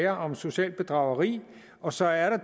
om socialt bedrageri og så er der